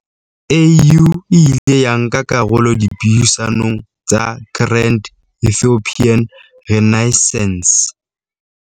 AU e ile ya nka karolo dipuisanong tsa Grand Ethiopian Renai ssance